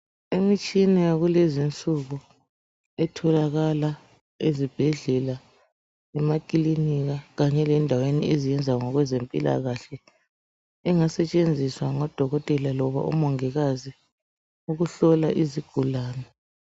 Imitshina yakulezi insuku etholakala ezibhedlela, emakilinika kanye lendaweni eziyenza ngokwe zempilakahle engasetshenziswa ngodokotela loba umongikazi ukuhlola izigulane.